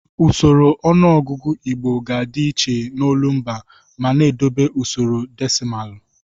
Usoro ọnụọgụgụ Igbo ga-adị iche n'olumba ma na-edobe usoro desịmalụ.